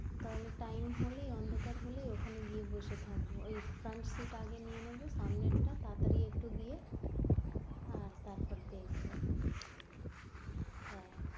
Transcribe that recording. তাহলে টাইম হলে অন্ধকার হলে ওখানে গিয়ে বসে থাকব, ওই front seat আগে নিয়ে নেব সামনেরটা তাড়া তাড়ি একটু গিয়ে আর তারপর দেখব হ্যাঁ,